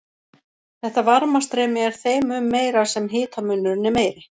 Þetta varmastreymi er þeim mun meira sem hitamunurinn er meiri.